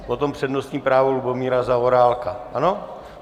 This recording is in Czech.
Potom přednostní právo Lubomíra Zaorálka, ano?